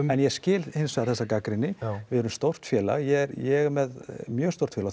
en ég skil hins vegar þessa gagnrýni við erum stórt félag ég ég er með mjög stórt félag